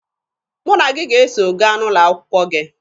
Mụ na gị ga-eso gaa n'ụlọ akwụkwọ gị.